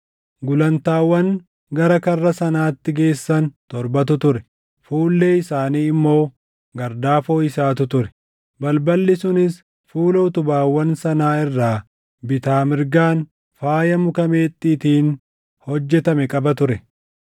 Gulantaawwan gara karra sanaatti geessan torbatu ture; fuullee isaanii immoo gardaafoo isaatu ture; balballi sunis fuula utubaawwan sanaa irraa bitaa mirgaan faaya muka meexxiitiin hojjetame qaba ture.